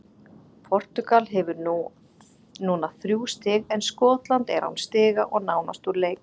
Portúgal hefur núna þrjú stig, en Skotland er án stiga og nánast úr leik.